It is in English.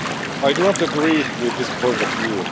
I do not agree with this point of view.